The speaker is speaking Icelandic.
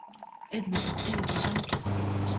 Auðvitað, auðvitað samgleðst ég þér.